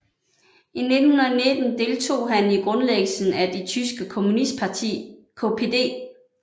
I 1919 deltog han i grundlæggelsen af det tyske kommunistparti KPD